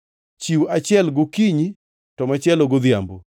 Chiw achiel gokinyi to machielo godhiambo.